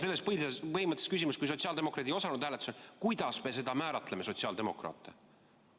Kuidas me selles põhimõttelises küsimuses, kui sotsiaaldemokraadid ei osalenud hääletusel, määratleme sotsiaaldemokraate?